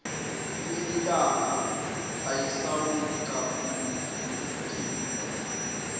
yelilanga ayisawucabuli umtimba